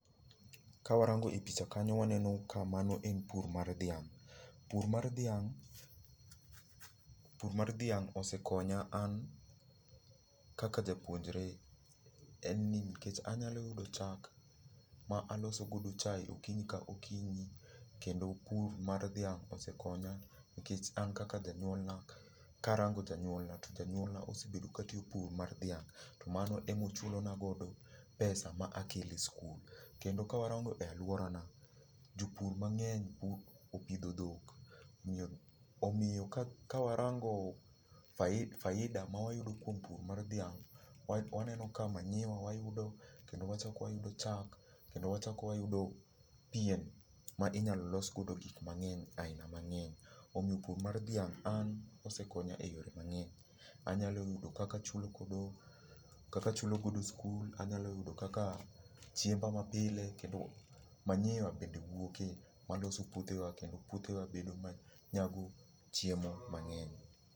Ka warango e picha kanyo waneno ka mano en pur mar dhiang'. Pur mar dhiang', pur mar dhiang' osekonya an kaka japuonjre, en ni nikech anyalo yudo chak ma aloso godo chae okinyi ka okinyi. Kendo pur mar dhiang' osekonya, nikech an kaka janyuolna, karango janyuolna to janyuolna osebedo ka tiyo pur mar dhiang'. To mano emochulo na godo pesa ma akelo e skul. Kendo ka warango e alwora na, jopur mang'eny opidho dhok. Omiyo, omiyo ka warango faida ma wayudo kuom pur mar dhiang', waneno ka manyiwa wayudo, kendo wachak wayudo chak, kendo wachak wayudo pien ma inyalo los godo gik ma ng'eny aina mang'eny. Omiyo pur mar dhiang' an osekonya e yore mang'eny. Anyalo yudo kaka achulo godo, kaka achulo godo sikul, anyalo yudo kaka chiemba ma pile, kendo manyiwa bende wuoke waloso puothe wa kendo puothe wa bedo manyago chiemo mang'eny.